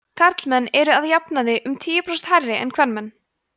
karlmenn eru að jafnaði um tíu prósent hærri en kvenmenn